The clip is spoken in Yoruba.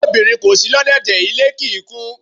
Bí obìnrin kò si lọ́dẹ́dẹ̀, ilé kì í kún.